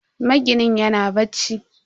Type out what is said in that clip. Maginin yana bacci.